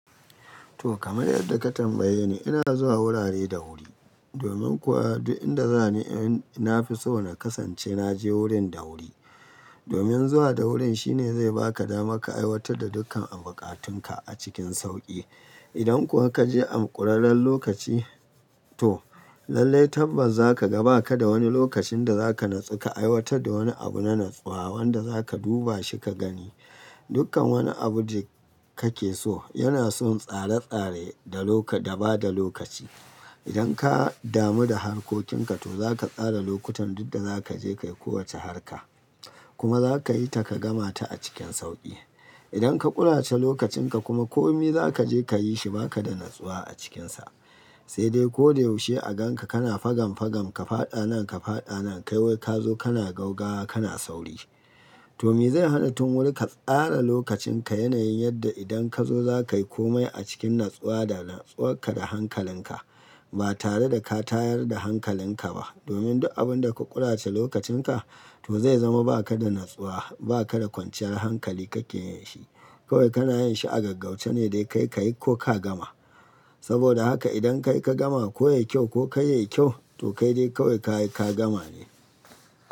To kamar yadda ka tambaye ni, ina zuwa wurare da wuri. Domin kuwa duk inda za ni in na fi so na kasance na je wurin da wuri. Domin zuwa da wurin shine zai ba ka damar ka aiwatar da dukkan buƙatunka a cikin sauƙi. Idan kuwa ka je a ƙurarren lokaci to lallai tabbas za ka ga ba ka da wani lokacin da za ka natsu ka aiwatar da wani abu na natsuwa wanda za ka duba shi ka gani. Dukkan wani abu da kake so yana son tsare-tsare da ba da lokaci. Idan ka damu da harkokinka to za ka tsara lokutan duk da za ka je ka yi kowace harka. Kuma za ka yi ta ka gama ta a cikin sauƙi. Idan ka ƙurace lokacin ka kuma kome za ka je ka yi shi ba ka da natsuwa a cikinsa. Sai dai ko da yaushe a gan ka kana fagam fagam, ka fada nan ka fada nan, kawai ka zo kana gaugawa kana sauri. To me zai hana tun wuri ka tsara lokacin ka yanayin yadda idan ka zo za ka yi kome a cikin natsuwa da natsuwarka da hankalin ka. Ba tare da ka tayar da hankalin ka ba. Domin duk abun da ka ƙurace lokacin ka to zai zama ba ka da natsuwa, ba ka da kwanciyar hankali ka ke yin shi. Kawai kana yin shi a gaggauce ne dai ka yi ka yi ko ka gama. Saboda haka idan ka yi ka gama ko ya yi kyau ko ka yi ya yi kyau to kai dai kawai ka yi ka gama ne.